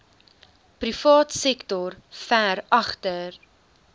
privaatsektor ver agter